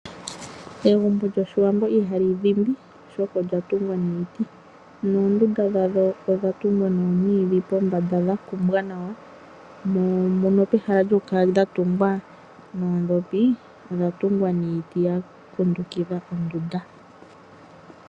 Egumbo lyOshiwambo ihali dhimbi oshoka olya tungwa niiti noondunda dhalyo odha tungwa nomwiidhi pombanda dha kumbwa nawa mono pehala lyokukala dha tungwa noodhopi odha tungwa niiti ya kundukidha ondunda.